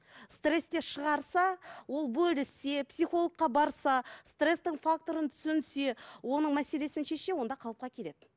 стрессте шығарса ол бөліссе психологқа барса стресстің факторын түсінсе оның мәселесін шешсе онда қалыпқа келеді